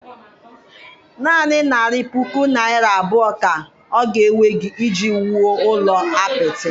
Naanị narị puku naira abụọ, ka oga ewegị iji wuo ụlọ apịtị